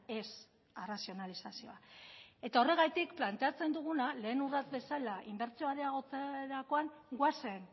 ez arrazionalizazioa eta horregatik planteatzen duguna lehen urrats bezala inbertsioa areagotzerakoan goazen